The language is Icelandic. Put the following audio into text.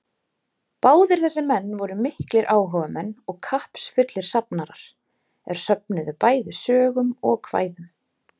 Báðir þessir menn voru miklir áhugamenn og kappsfullir safnarar, er söfnuðu bæði sögum og kvæðum.